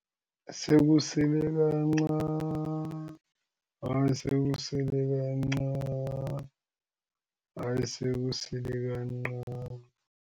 Sekusele kancani, hayi sekusele kancani, hayi sekusele kancani.